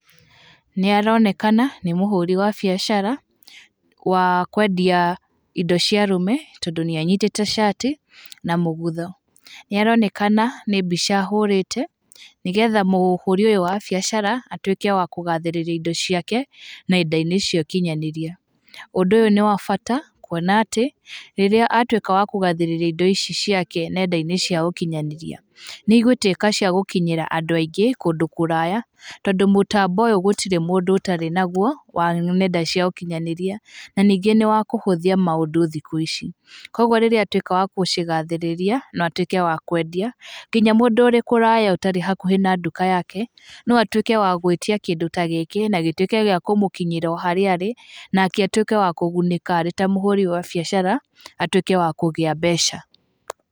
Nĩaronekana nĩ mũhũri wa biashara, wa kwendia indo cia arũme tondũ nĩanyitĩte cati na mũgũtho. Nĩaronekana nĩ mbica ahũrĩte nigetha mũhũri ũyũ wa biashara atuĩke wa kũgathĩrĩria indo ciake na indo-inĩ icio ikinyanĩrie. Ũndũ ũyũ nĩ wa bata kuona atĩ rĩrĩa atuĩka wa kũgathĩrĩria indo ici ciake nenda-inĩ cia ũkinyanĩria, nĩigũtuĩka cia gũkinyĩra andũ aingĩ kũndũ kũraya tondũ mũtambo ũyũ gũtirĩ mũndũ ũtarĩ naguo wa nenda cia ũkinyanĩria na ningĩ nĩwa kũhũthĩa maũndũ thikũ ici. Kũguo rĩrĩa atuĩka wa kucigathĩrĩria no atuĩke wa kũendia kinya mũndũ ũrĩ kũraya ũtarĩ hakuhĩ na duka yake, no atuĩke wa gũĩtia kindũ ta gĩkĩ na gĩtuĩke gĩa kũmũkinyĩra o harĩa arĩ nake atuĩke wa kũgunĩka arĩ ta mũhurĩ wa biashara, atuĩke wa kũgĩa mbeca.